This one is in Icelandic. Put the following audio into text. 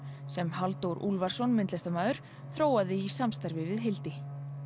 sem Halldór Úlfarsson myndlistarmaður þróaði í samstarfi við Hildi